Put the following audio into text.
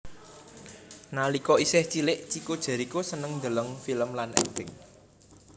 Nalika isih cilik Chico Jericho seneng ndeleng film lan akting